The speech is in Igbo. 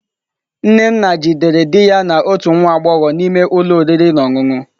Nnenna jidere di ya na otu nwa agbọghọ n'ime ụlọ oriri na ọṅụṅụ.